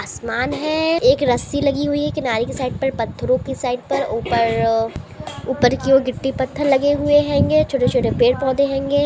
आसमान है एक रस्सी लगी हुई है किनारे के साईड पर पत्थरों के साईड पर ऊपर ऊपर की और गिट्टी पत्थर लगे हुए हेंगे छोटे-छोटे पेड़-पोधे हेंगे।